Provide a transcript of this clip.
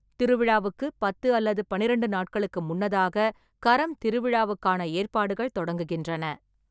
திருவிழாவுக்கு பத்து அல்லது பன்னிரெண்டு நாட்களுக்கு முன்னதாக கரம் திருவிழாவுக்கான ஏற்பாடுகள் தொடங்குகின்றன.